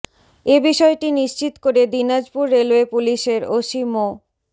এ বিষয়টি নিশ্চিত করে দিনাজপুর রেলওয়ে পুলিশের ওসি মো